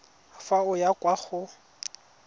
fa o ya kwa go